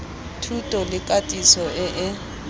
thuto le katiso e e